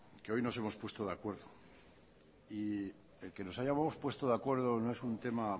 que hoy nos hemos puesto de acuerdo y que nos hayamos puesto de acuerdo no es un tema